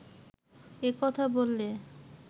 এ কথা বললে